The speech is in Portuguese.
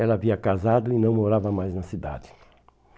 Ela havia casado e não morava mais na cidade.